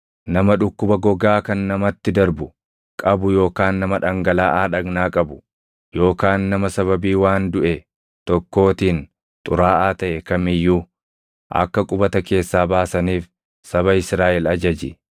“Nama dhukkuba gogaa kan namatti darbu qabu yookaan nama dhangalaʼaa dhagnaa qabu yookaan nama sababii waan duʼe tokkootiin xuraaʼaa taʼe kam iyyuu akka qubata keessaa baasaniif saba Israaʼel ajaji.